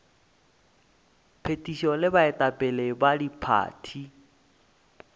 phethišo le baetapele ba diphathi